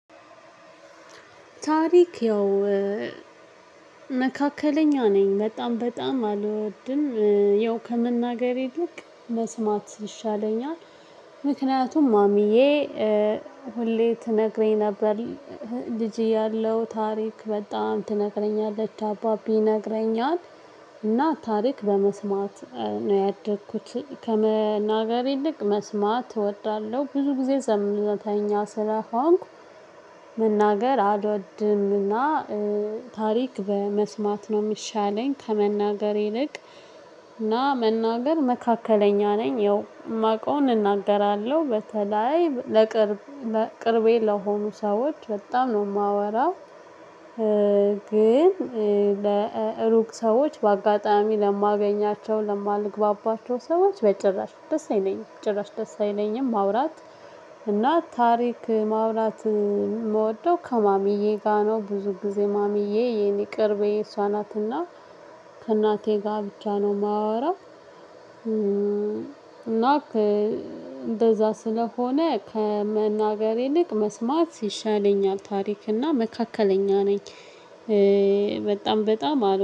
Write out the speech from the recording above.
ታሪክ ያው መካከለኛ ነኝ በጣም በጣም አልወድም የው ከመናገር ይልቅ መስማት ይሻለኛል። ምክንያቱም ማሚዬ ሁሌ ትነግረኝ ነበር ልጅ ያለው ታሪክ በጣም ትነግረኛለች አባቢ ይነግረኝአል እና ታሪክ በመስማት ነው ያደግኩት። ከመናገር ይልቅ መስማት እወዳለሁ ብዙ ጊዜ ዘምተኛ ስለሆንኩ። መናገር አድወድም እና ታሪክ በመስማት ነው የሚሻለኝ ከመናገር ይልቅ። እና መናገር መካከለኛ ነኝ ያው የማውቀውን እናገራለሁ በተለይ ለቅርብ ቅርቤ ለሆኑ ሰዎች በጣም ነው የማወራው። ግን ለሩቅ ሰዎች በአጋጣሚ ለማገኛቸው ለማልግባባቸው ሰዎች በጭራሽ ደስ አይለኝም ጭራሽ ደስ አይለኝም ማውራት። እና ታሪክ ማውራት የምወደው ከማሚዬ ጋር ነው ብዙ ጊዜ ማሚዬ የኔ ቅርቤ እሷ ናትና። ከእናቴ ጋር ብቻ ነው የማወራው። እና እንደዛ ስለሆነ ከመናገር ይልቅ መስማት ሲሻለኝአል ታሪክ እና መካከለኛ ነኝ። በጣም በጣም አል